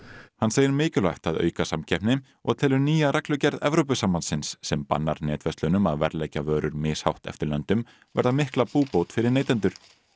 hann segir mikilvægt að auka samkeppni og telur nýja reglugerð Evrópusambandsins sem bannar netverslunum að verðleggja vörur mishátt eftir löndum verða mikla búbót fyrir neytendur